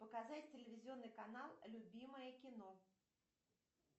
показать телевизионный канал любимое кино